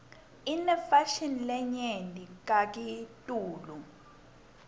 inefashini lenyenti kakitulu